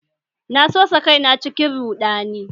Na sosa kaina cikin ruɗani